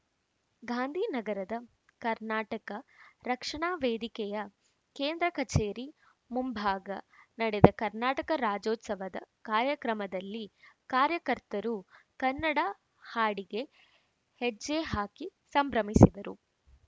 ಗಾಂಧಿನಗರದ ಕರ್ನಾಟಕ ರಕ್ಷಣಾ ವೇದಿಕೆಯ ಕೇಂದ್ರ ಕಚೇರಿ ಮುಂಭಾಗ ನಡೆದ ಕರ್ನಾಟಕ ರಾಜ್ಯೋತ್ಸವದ ಕಾರ್ಯಕ್ರಮದಲ್ಲಿ ಕಾರ್ಯಕರ್ತರು ಕನ್ನಡ ಹಾಡಿಗೆ ಹೆಜ್ಜೆ ಹಾಕಿ ಸಂಭ್ರಮಿಸಿದರು